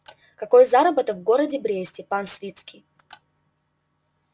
какой заработок в городе бресте пан свицкий